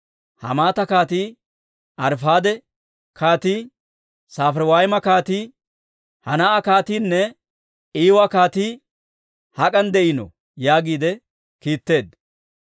Hamaata kaatii, Arifaade kaatii, Safariwayma kaatii, Henaa'a kaatiinne Iiwa kaatii hak'an de'iino?» yaagiide kiitteedda.